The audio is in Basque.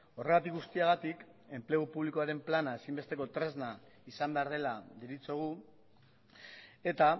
horregatik guztiagatik enplegu publikoaren plana ezinbesteko tresna izan behar dela deritzogu eta